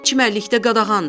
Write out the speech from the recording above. Çimərlikdə qadağandır.